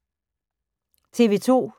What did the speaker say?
TV 2